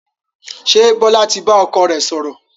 Ṣé Bọlá tí bá ọkọ rẹ sọ̀rọ̀?